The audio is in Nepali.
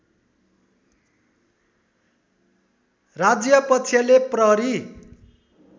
राज्यपक्षले प्रहरी